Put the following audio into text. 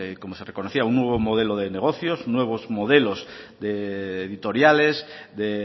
como se reconocía un nuevo modelo de negocios nuevos modelos de editoriales de